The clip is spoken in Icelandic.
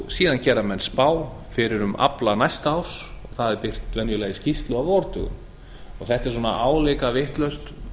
heildaraflanum síðan gera menn spá fyrir um afla næsta árs það er birt venjulega í skýrslu á vordögum þetta er svona álíka vitlaust